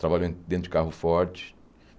Trabalhou em dentro de carro forte.